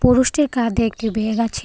পুরুষটির কাঁধে একটা ব্যাগ আছে।